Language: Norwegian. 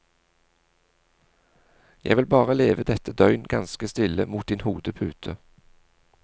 Jeg vil bare leve dette døgn ganske stille mot din hodepute.